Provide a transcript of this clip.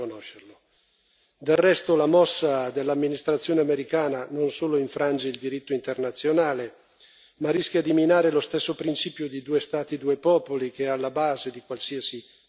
Del resto la mossa dell'amministrazione americana non solo infrange il diritto internazionale, ma rischia di minare lo stesso principio di due Stati due popoli, che è alla base di qualsiasi processo di pace.